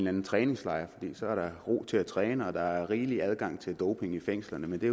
anden træningslejr for der ro til at træne og der er rigelig adgang til doping i fængslerne men det